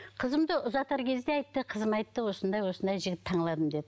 қызымды ұзатар кезде айтты қызым айтты осындай осындай жігіт деді